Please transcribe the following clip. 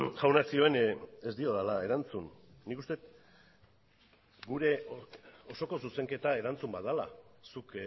jaunak zioen ez diodala erantzun nik uste dut gure osoko zuzenketa erantzun bat dela zuk